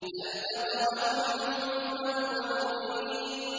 فَالْتَقَمَهُ الْحُوتُ وَهُوَ مُلِيمٌ